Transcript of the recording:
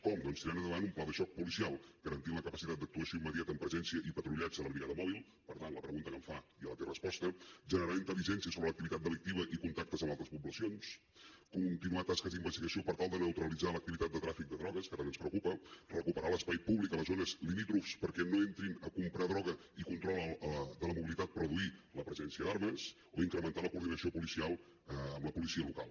com doncs tirant endavant un pla de xoc policial garantint la capacitat d’actuació immediata amb presència i patrullatge de la brigada mòbil per tant la pregunta que em fa ja la té resposta generant intel·ligència sobre l’activitat delictiva i contactes amb altres poblacions continuar tasques d’investigació per tal de neutralitzar l’activitat de tràfic de drogues que tant ens preocupa recuperar l’espai públic a les zones limítrofes perquè no entrin a comprar droga i control de la mobilitat per reduir la presència d’armes o incrementar la coordinació policial amb la policia local